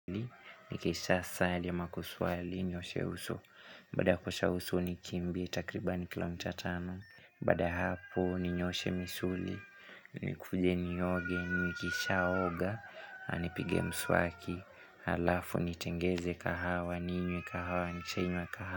Nikisha sali ama kuswali, nioshe uso, bada kuosha uso nikimbi, takribani kilomitatano Baada ya hapo, ninyooshe misuli, nikuje ni oge, nikisha oga, anipige mswaki Halafu, nitengeze kahawa, ninywe kahawa, nikishainywa kahawa.